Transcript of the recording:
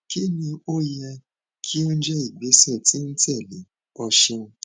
kini o yẹ ki o jẹ igbesẹ ti n tẹle o ṣeun